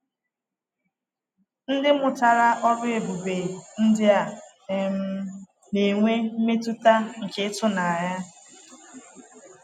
Ndị mụtara “ọrụ ebube” ndị a um na-enwe mmetụta nke ịtụnanya.